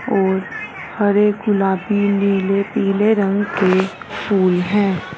और हरे गुलाबी नीले पीले रंग के फूल हैं।